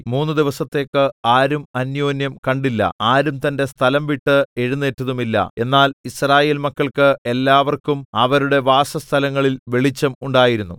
മൂന്ന് ദിവസത്തേക്ക് ആരും അന്യോന്യം കണ്ടില്ല ആരും തന്റെ സ്ഥലം വിട്ട് എഴുന്നേറ്റതുമില്ല എന്നാൽ യിസ്രായേൽ മക്കൾക്ക് എല്ലാവർക്കും അവരുടെ വാസസ്ഥലങ്ങളിൽ വെളിച്ചം ഉണ്ടായിരുന്നു